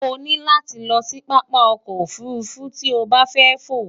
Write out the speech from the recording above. o ní láti lo̩ sí pápá o̩kò̩ ofùrufú tí o bá fé̩ fò.